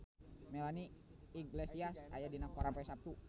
Melanie Iglesias aya dina koran poe Saptu